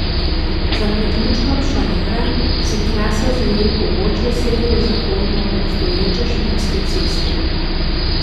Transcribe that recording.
Za priključkom Šalara se trasa zaje v pobočje severozahodno od obstoječe Šmarske ceste.